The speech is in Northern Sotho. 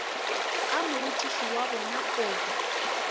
ka morutiši wa bona kobi